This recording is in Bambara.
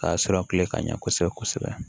Ka sɔrɔ kile ka ɲɛ kosɛbɛ